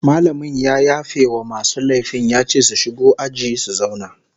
Mallamin ya yafe wa masu laifin ya ce su shigo aji su zauna